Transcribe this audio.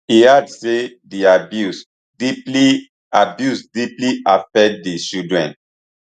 e add say di abuse deeply abuse deeply affect di children